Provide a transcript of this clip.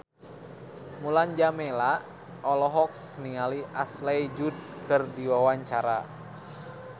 Mulan Jameela olohok ningali Ashley Judd keur diwawancara